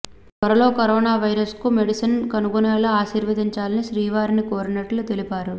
త్వరలో corona virus కు medicine కనుగొనేలా ఆశీర్వదించాలని శ్రీవారిని కోరినట్లు తెలిపారు